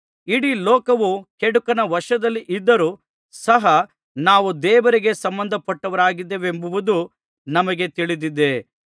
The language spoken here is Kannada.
ಇಡೀ ಲೋಕವು ಕೆಡುಕನ ವಶದಲ್ಲಿ ಇದ್ದರು ಸಹ ನಾವು ದೇವರಿಗೆ ಸಂಬಂಧಪಟ್ಟವರಾಗಿದ್ದೇವೆಂಬುದು ನಮಗೆ ತಿಳಿದಿದೆ